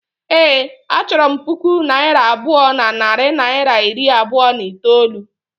Ee, a chọrọ m puku naira abụọ na narị naịra iri abụọ na itoolu